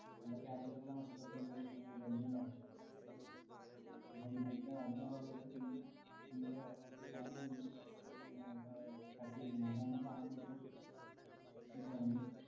അല്ല casual ആയിട്ടുള്ള മറ്റു dress ഒന്നും ഉ~ അഹ് ധരിക്കാൻ പാടില്ല. അപ്പം അതിന്റെ അതിന്റെ ഭാഗവായിട്ടും നമുക്ക് നിങ്ങളെ salary ഈന്നും ക~ ക~ cut ചെയ്യുന്നെയാണ്. അതാണ് sir നിപ്പം ഈ പറഞ്ഞ